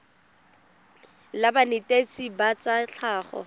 la banetetshi ba tsa tlhago